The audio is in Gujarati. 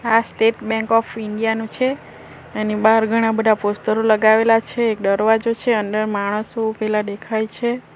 આ સ્ટેટ બેન્ક ઓફ ઇન્ડિયા નું છે એની બહાર ઘણા બધા પોસ્ટરો લગાવેલા છે દરવાજો છે અંદર માણસો ઉભેલા દેખાય છે.